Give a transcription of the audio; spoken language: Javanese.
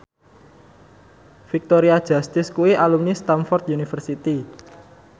Victoria Justice kuwi alumni Stamford University